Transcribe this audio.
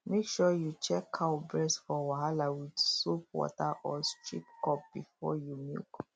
make sure you check cow breast for wahala with soap water or strip cup before you milk